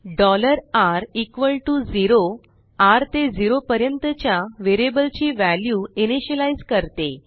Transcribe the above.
r0 र ते zero पर्यंत च्या वेरियबल ची वॅल्यू इनीशियलाइज करते